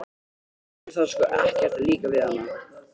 Þér þarf sko ekkert að líka við hana.